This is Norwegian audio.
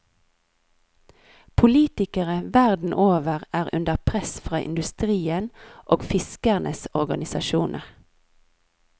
Politikere verden over er under press fra industrien og fiskernes organisasjoner.